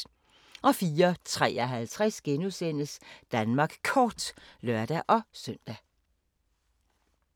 04:53: Danmark Kort *(lør-søn)